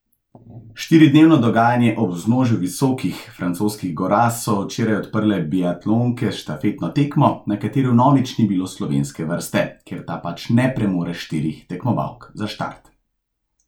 Štiridnevno dogajanje ob vznožju visokih francoskih gora so včeraj odprle biatlonke s štafetno tekmo, na kateri vnovič ni bilo slovenske vrste, ker ta pač ne premore štirih tekmovalk za štart.